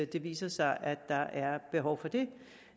det viser sig at der er behov for det